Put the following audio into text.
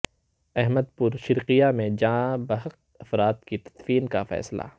احمد پور شرقیہ میں جاں بحق افراد کی تدفین کا فیصلہ